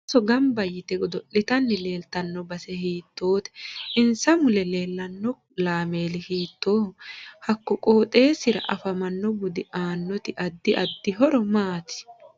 Ooso ganba yitte godo'litanni leeltanno base hiitoote insa mule leelanno laameeli hiitooho hakko qooxeesira afamanno dubbi aanoti addi addi horo maati